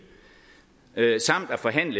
samt forhandle